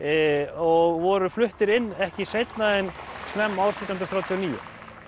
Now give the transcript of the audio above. og voru fluttir inn ekki seinna en snemma árs nítján hundruð þrjátíu og níu